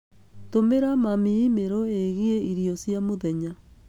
Tũmĩra mami e-mail ĩgiĩ irio cia mũthenya